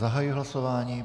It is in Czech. Zahajuji hlasování.